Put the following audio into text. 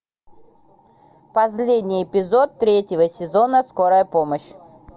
последний эпизод третьего сезона скорая помощь